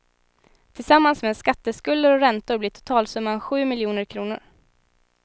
Tillsammans med skatteskulder och räntor blir totalsumman sju miljoner kronor.